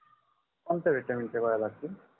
कोणत्या vitamin गोळ्या लागतील